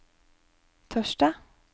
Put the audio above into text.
torsdag